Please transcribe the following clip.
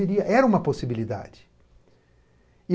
Era uma possibilidade.